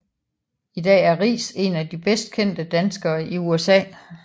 I dag er Riis en af de bedst kendte danskere i USA